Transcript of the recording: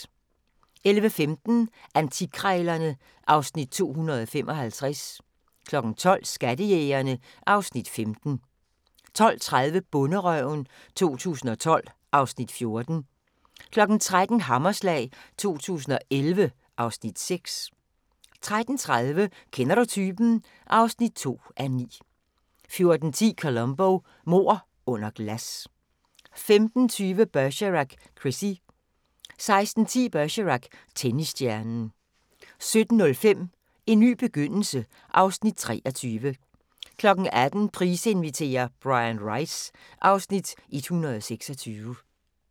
11:15: Antikkrejlerne (Afs. 255) 12:00: Skattejægerne (Afs. 15) 12:30: Bonderøven 2012 (Afs. 14) 13:00: Hammerslag 2011 (Afs. 6) 13:30: Kender du typen? (2:9) 14:10: Columbo: Mord under glas 15:20: Bergerac: Chrissie 16:10: Bergerac: Tennisstjernen 17:05: En ny begyndelse (Afs. 23) 18:00: Price inviterer - Bryan Rice (Afs. 126)